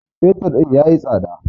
fetur din ya yi tsada